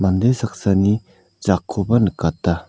mande saksani jakkoba nikata.